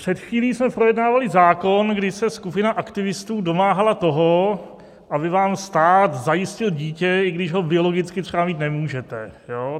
Před chvílí jsme projednávali zákon, kdy se skupina aktivistů domáhala toho, aby vám stát zajistil dítě, i když ho biologicky třeba mít nemůžete.